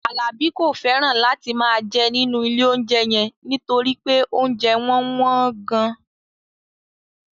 Alabi kò fẹ́ràn láti máa jẹ nínú ilé-oúnjẹ yẹn nítorí pé oúnjẹ wọn wọ́n gan-an